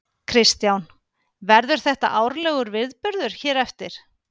Kristján: Verður þetta árlegur viðburður hér eftir?